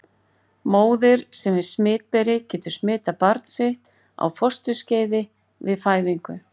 Móðir sem er smitberi getur smitað barn sitt á fósturskeiði eða við fæðingu.